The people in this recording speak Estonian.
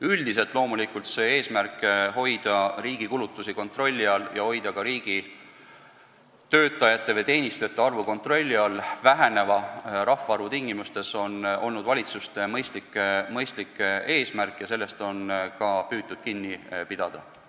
Üldiselt aga on eesmärk hoida riigi kulutusi kontrolli all ja hoida ka riigitöötajate või -teenistujate arvu väheneva rahvaarvu tingimustes kontrolli all loomulikult mõistlik eesmärk ja sellest on ka valitsused püüdnud kinni pidada.